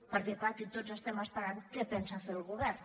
perquè clar aquí tots estem esperant què pensa fer el govern